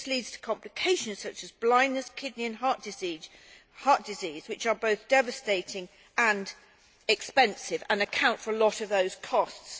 This leads to complications such as blindness and kidney and heart disease, which are both devastating and expensive and account for a lot of those costs.